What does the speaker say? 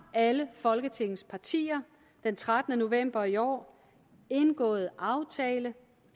alle folketingets partier den trettende november i år indgået aftale